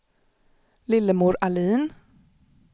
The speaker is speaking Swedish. Lillemor Ahlin